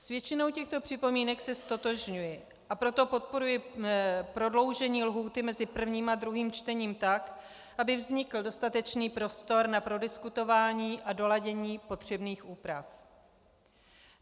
S většinou těchto připomínek se ztotožňuji, a proto podporuji prodloužení lhůty mezi prvním a druhým čtením, tak aby vznikl dostatečný prostor na prodiskutování a doladění potřebných úprav.